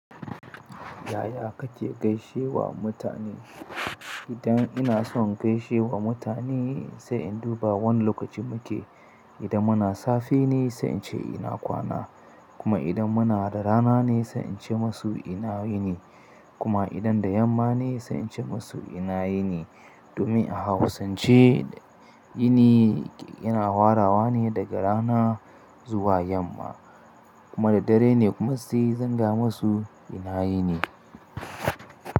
Yaya kake gaishe wa mutane? Idan ina son gaishe wa mutane sai in duba wane lokaci muke. Idan muna safe ne sai ince ina kwana, kuma idan muna da rana ne sai ince masu ina yini, kuma idan da yamma ne sai ince masu ina yini domin a hausance yini yana hwarawa ne daga rana zuwa yamma kuma da dare ne kuma sai zan gaya masu ina yini.